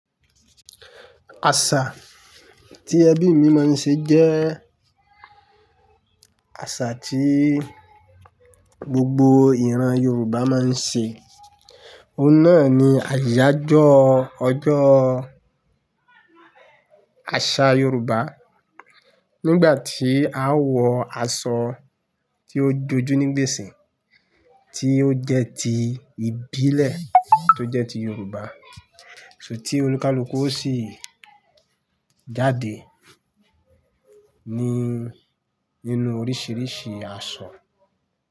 Àṣà tí ẹbí mi máa ń ṣe jẹ́ àṣà tí gbogbo ìran Yorùbá máa ń ṣe. Ó náà ni àyájọ́ ọjọ́ àṣà Yorùbá. Nígbà tí a ó wọ aṣọ tí ó jojú ní gbèsè, tí ó jẹ́ ti ìbílẹ̀ tó jẹ́ ti Yorùbá, ṣùgbọ́n tí olúkúlùkù ó sì jáde ní nínú oríṣiríṣi aṣọ.